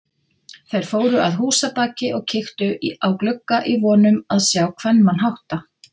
Þeir fóru að húsabaki og kíktu á glugga í von um að sjá kvenmann hátta.